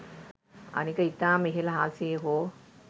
අනික ඉතාම ඉහල අහසේ හෝ